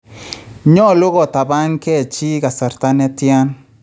Nyolu kotapankee chii kasarta netyan?